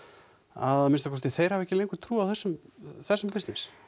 að minnsta kosti þeir hafi ekki lengur trú á þessum þessum bissness